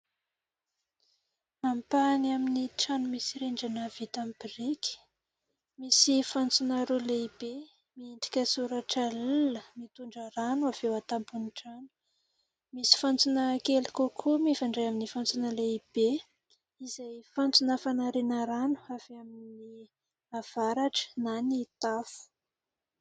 Ampahany amin'ny trano misy rindrina vita amin'ny biriky. Misy fantsona roa lehibe miendrika soratra "L" mitondra rano avy eo an-tampon'ny trano ; misy fantsona kely kokoa mifandray amin'ny fantsona lehibe ; izay fantsona fanariana rano avy amin'ny avaratra na ny tafo.